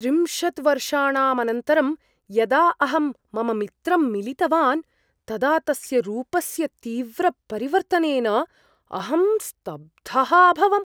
त्रिंशत् वर्षाणाम् अनन्तरं यदा अहं मम मित्रं मिलितवान् तदा तस्य रूपस्य तीव्रपरिवर्तनेन अहं स्तब्धः अभवम्।